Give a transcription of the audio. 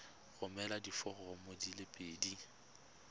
romela diforomo di le pedi